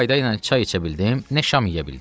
Nə qayda ilə çay içə bildim, nə şam yeyə bildim.